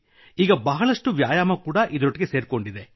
ಈಗ ಬಹಳಷ್ಟು ವ್ಯಾಯಾಮವೂ ಇದರೊಟ್ಟಿಗೆ ಸೇರಿದೆ